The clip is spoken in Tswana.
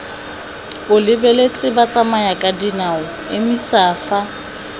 o lebeletse batsamayakadinao emisa fa